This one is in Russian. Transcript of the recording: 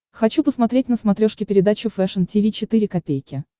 хочу посмотреть на смотрешке передачу фэшн ти ви четыре ка